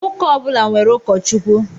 Ụka ọbula nwèrè ukọchukwu.